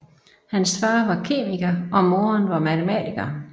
Hans far var kemiker og moderen var matematiker